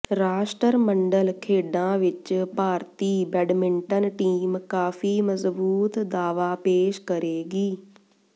ਰਾਸ਼ਟਰਮੰਡਲ ਖੇਡਾਂ ਵਿਚ ਭਾਰਤੀ ਬੈਡਮਿੰਟਨ ਟੀਮ ਕਾਫੀ ਮਜ਼ਬੂਤ ਦਾਅਵਾ ਪੇਸ਼ ਕਰੇਗੀ